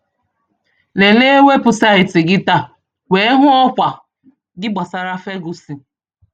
Léléé wébụsáịtị gị tàá wéé hụ ọ́kwà gị gbasàrà Ferguson